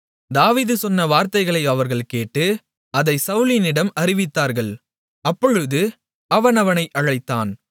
தாவீது சொன்ன வார்த்தைகளை அவர்கள் கேட்டு அதைச் சவுலினிடம் அறிவித்தார்கள் அப்பொழுது அவன் அவனை அழைத்தான்